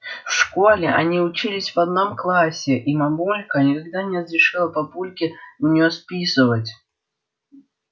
в школе они учились в одном классе и мамулька никогда не разрешала папульке у неё списывать